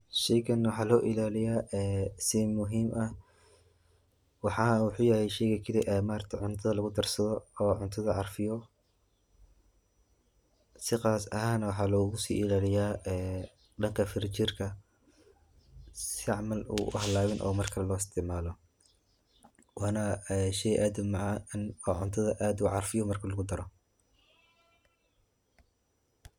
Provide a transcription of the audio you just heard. Shaygaani waxaa loo ilaaliyaa si muhiim ah. Waxaa wuxuu yahay shayga keli ah ee cuntada lagu darsado oo cuntada carfiyo. Si khaas ahaan, waxaa loogu sii ilaaliyaa dhanka firinjeerka si camal uu u halaabin oo marka loo isticmaalo. Waana shay aad u macaan oo cuntada aad u carfiyo marka lagu daro.